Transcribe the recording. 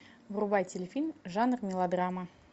врубай телефильм жанр мелодрама